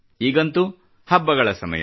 ಈಗಂತೂ ಹಬ್ಬಗಳ ಸಮಯ